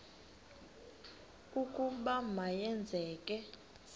ukuba ma yenzeke